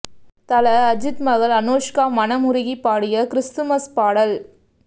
தல அஜீத் மகள் அனோஷ்கா மனம் உருகி பாடிய கிறிஸ்துமஸ் பாடல்